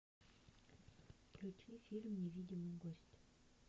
включи фильм невидимый гость